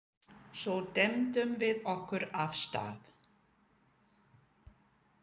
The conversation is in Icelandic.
Svo dembdum við okkur af stað.